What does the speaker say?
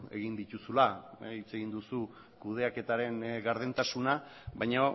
egin dituzula hitz egin duzu kudeaketaren gardentasuna baina